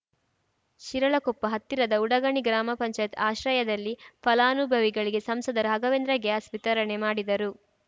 ಶಿರಾಳಕೊಪ್ಪ ಹತ್ತಿರದ ಉಡಗಣಿ ಗ್ರಾಮ ಪಂಚಾಯತ್ ಆಶ್ರಯದಲ್ಲಿ ಫಲಾನುಭವಿಗಳಿಗೆ ಸಂಸದ ರಾಘವೇಂದ್ರ ಗ್ಯಾಸ್‌ ವಿತರಣೆ ಮಾಡಿದರು